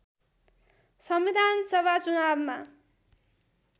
संविधानसभा चुनावमा